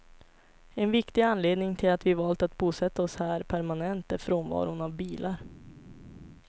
En viktig anledning till att vi valt att bosätta oss här permanent är frånvaron av bilar.